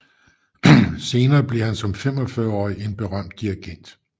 Senere bliver han som 45 årig en berømt dirigent